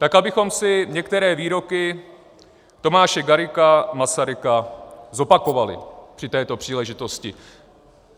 Tak abychom si některé výroky Tomáše Garrigua Masaryka zopakovali při této příležitosti.